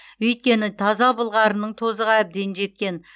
өйткені таза былғарының тозығы әбден жеткен